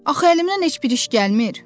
Axı əlimdən heç bir iş gəlmir.